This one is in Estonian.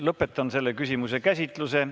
Lõpetan selle küsimuse käsitluse.